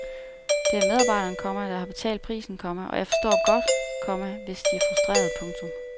Det er medarbejderne, komma der har betalt prisen, komma og jeg forstår godt, komma hvis de er frustrerede. punktum